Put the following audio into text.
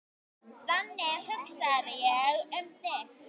Þannig hugsaði ég um þig.